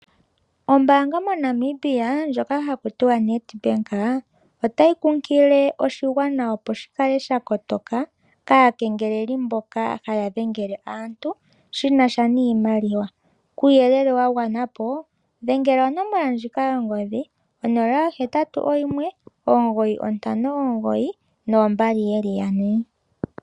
Ombaanga moNamibia ndjoka haku tiwa oNedbank otayi kunkilile oshigwana, opo shi kale sha kotoka kaakengeleli mboka haya dhengele aantu shi na sha niimaliwa. Kuuyelele wa gwana po dhengele onomola ndjika yongodhi 081 9592222.